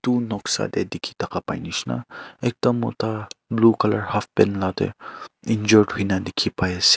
Etu noksa dae dekhe takha pai neshina ekta mota blue colour halfpant la dae injured hoina dekhe pai ase.